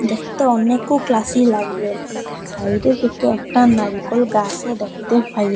দেখতে অনেকও ক্লাসি লাগবে সাইডের দিকে একটা নারকোল গাসও দেখতে পাই।